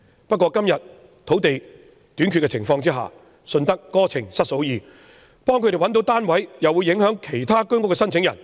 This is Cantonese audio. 但在今天土地短缺的情況下，"順得哥情失嫂意"，如為他們編配單位，又會影響其他居屋申請者。